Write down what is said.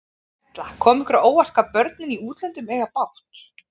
Erla: Kom ykkur á óvart, hvað börnin í útlöndum eiga bágt?